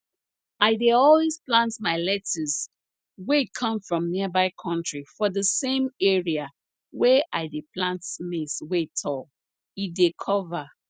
i dey always plant my lettuce wey come from nearby country for di same area wey i dey plant maize wey tall e dey cover